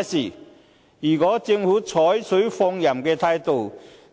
然而，如果政府採取放任態度，